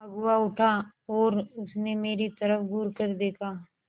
अगुआ उठा और उसने मेरी तरफ़ घूरकर देखा